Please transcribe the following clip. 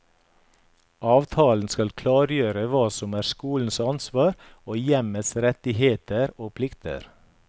Avtalen skal klargjøre hva som er skolens ansvar og hjemmets rettigheter og plikter.